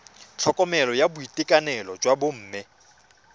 tlhokomelo ya boitekanelo jwa bomme